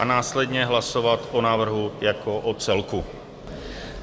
A následně hlasovat o návrhu jako o celku.